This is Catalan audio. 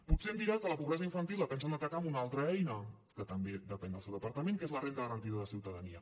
potser em dirà que la pobresa infantil la pensen atacar amb una altra eina que també depèn del seu departament que és la renda garantida de ciutadania